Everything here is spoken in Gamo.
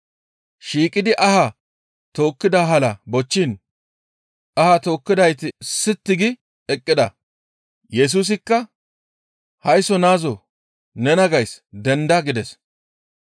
Shiiqidi ahaa tookkida hala bochchiin ahaa tookkidayti sitti gi eqqida. Yesusikka, «Haysso naazoo nena gays denda!» gides.